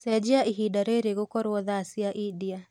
cenjĩaĩhĩnda riri gũkorwo thaa cĩa india